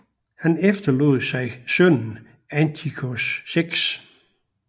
Han efterlod sig sønnen Antiochos 6